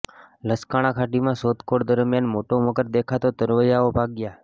લસકાણા ખાડીમાં શોધખોળ દરમિયાન મોટો મગર દેખાતા તરવૈયાઓ ભાગ્યાં